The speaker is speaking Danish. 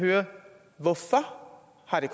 har vi